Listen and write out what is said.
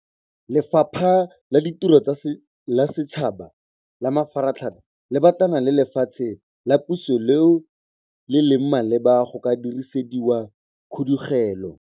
Lefapha la Ditiro tsa Setšhaba le Mafaratlhatlha le batlana le lefatshe la puso leo le leng maleba go ka dirisediwa khudugelo.